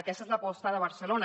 aquesta és l’aposta de barcelona